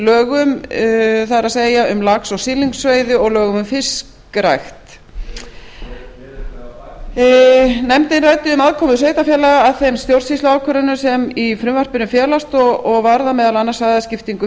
lögum það er um lax og silungsveiði og lögum um fiskrækt nefndin ræddi um aðkomu sveitarfélaga að þeim stjórnsýsluákvörðunum sem í frumvarpinu felast og varða meðal annars svæðaskiptingu